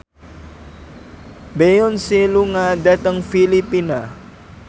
Beyonce lunga dhateng Filipina